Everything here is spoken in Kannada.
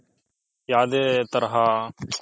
ಯಾವುದೇ ತರಹ